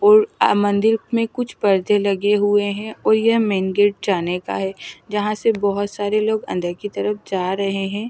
और मंदिर में कुछ पर्दे लगे हुए हैं और यह मेन गेट जाने का है जहां से बहुत सारे लोग अंदर की तरफ जा रहे हैं।